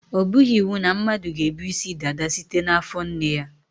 Ọ bụghị iwu na mmadụ ga-ebu isi dada site n' afọ nne ya.